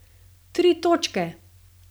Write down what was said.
Tri točke!